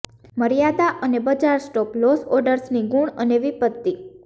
મર્યાદા અને બજાર સ્ટોપ લોસ ઓર્ડર્સની ગુણ અને વિપત્તિ